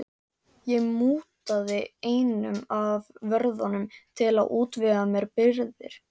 Ég mútaði einum af vörðunum til að útvega mér birgðir.